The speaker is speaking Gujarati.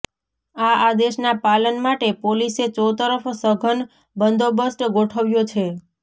આ આદેશના પાલન માટે પોલીસે ચોતરફ સઘન બંદોબસ્ત ગોઠવ્યો છે